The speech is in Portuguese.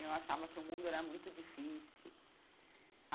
Eu achava que o mundo era muito difícil.